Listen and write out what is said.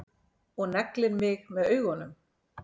Og neglir mig með augunum.